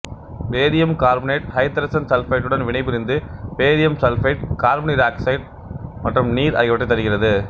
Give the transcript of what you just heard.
barium carbonate ஐதரசன் சல்பைடுடன் வினைபுரிந்து பேரியம் சல்பைடு கார்பனீராக்சைடு மற்றும் நீர் ஆகியவற்றைத் தருகிறது